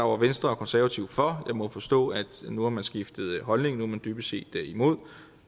var venstre og konservative for jeg må forstå at nu har man skiftet holdning nu er man dybest set imod